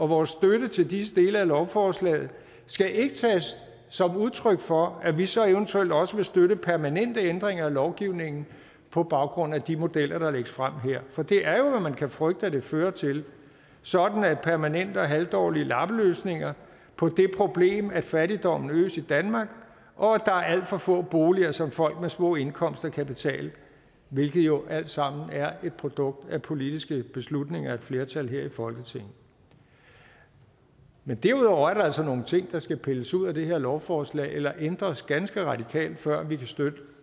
vores støtte til disse dele af lovforslaget skal ikke tages som udtryk for at vi så eventuelt også vil støtte permanente ændringer af lovgivningen på baggrund af de modeller der lægges frem her for det er jo hvad man kan frygte at det fører til sådan at det er permanente og halvdårlige lappeløsninger på det problem at fattigdommen øges i danmark og at der er alt for få boliger som folk med små indkomster kan betale hvilket jo alt sammen er et produkt af politiske beslutninger af et flertal her i folketinget men derudover er der altså nogle ting der skal pilles ud af det her lovforslag eller ændres ganske radikalt før vi kan støtte